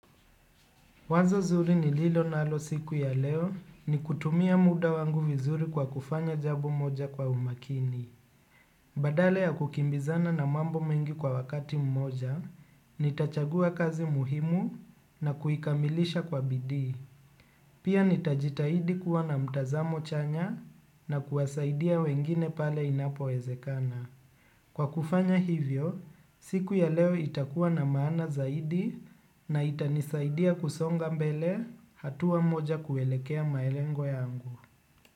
Wazo zuri nililo nalo siku ya leo ni kutumia muda wangu vizuri kwa kufanya jambo moja kwa umakini. Badala ya kukimbizana na mambo mengi kwa wakati mmoja, nitachagua kazi muhimu na kuikamilisha kwa bidii. Pia nitajitahidi kuwa na mtazamo chanya na kuwasaidia wengine pale inapowezekana. Kwa kufanya hivyo, siku ya leo itakuwa na maana zaidi na itanisaidia kusonga mbele hatua moja kuelekea malengo yangu.